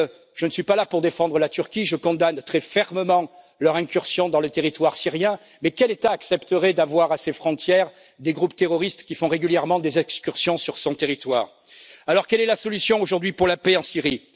Je ne suis pas là pour défendre la Turquie, je condamne très fermement son incursion dans le territoire syrien, mais quel État accepterait d'avoir à ses frontières des groupes terroristes qui font régulièrement des excursions sur son territoire? Alors, quelle est la solution aujourd'hui pour la paix en Syrie?